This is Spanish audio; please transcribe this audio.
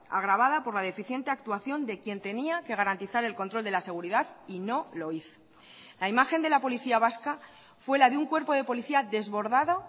agravada por la deficiente actuación de quien tenía que garantizar el control de la seguridad y no lo hizo la imagen de la policía vasca fue la de un cuerpo de policía desbordado